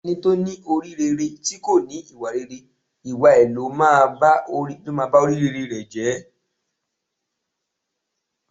Ẹni tó ní orí rere tí kò ní ìwà rere, ìwà ẹ ló máa ba orí rere ẹ̀ jẹ́.